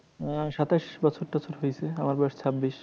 আহ সাতাশ বছর তছর হয়েছে। আমার বয়স ছাব্বিশ।